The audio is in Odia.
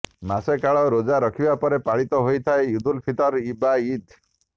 ମାସେ କାଳ ରୋଜା ରଖିବା ପରେ ପାଳିତ ହୋଇଥାଏ ଇଦୁଲଫିତର ବା ଇଦ